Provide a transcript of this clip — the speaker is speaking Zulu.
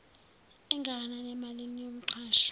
engakanani emalini yomqashwa